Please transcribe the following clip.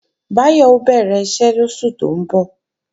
Báyọ̀ ó bẹ̀rẹ̀ iṣẹ́ lóṣù tó ń bọ̀